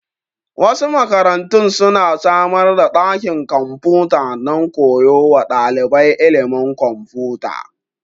Wasu makarantun su na samar da ɗakin kwamfuta don koya wa ɗalibai ilimin kwamfuta